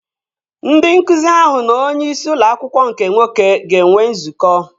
Ndị nkụzi ahụ na onye isi ụlọ akwụkwọ nke nwoke ga-enwe nzukọ